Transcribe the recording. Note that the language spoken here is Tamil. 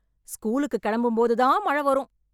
ஸ்கூலுக்கு கெளம்பும் போது தான் மழ வரும்